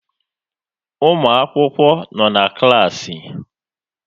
Ụmụakwụkwọ nọ na klaasị